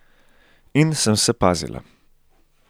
In sem se pazila.